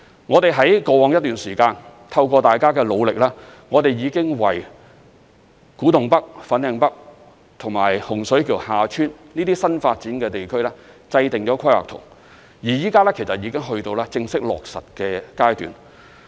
我們在過往一段時間，透過大家的努力，已經為古洞北/粉嶺北和洪水橋/厦村這些新發展的地區制訂了規劃圖，而現在已經到了正式落實的階段。